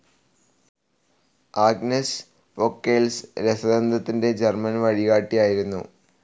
Agnes Pockels രസതന്ത്രത്തിന്റെ German വഴികാട്ടിയായിരുന്നു.